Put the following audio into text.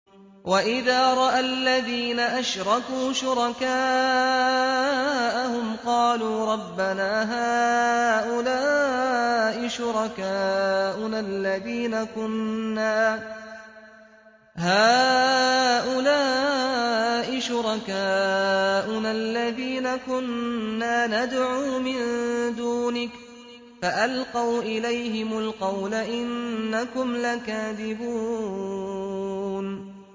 وَإِذَا رَأَى الَّذِينَ أَشْرَكُوا شُرَكَاءَهُمْ قَالُوا رَبَّنَا هَٰؤُلَاءِ شُرَكَاؤُنَا الَّذِينَ كُنَّا نَدْعُو مِن دُونِكَ ۖ فَأَلْقَوْا إِلَيْهِمُ الْقَوْلَ إِنَّكُمْ لَكَاذِبُونَ